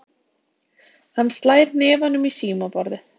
Hann slær hnefanum í símaborðið.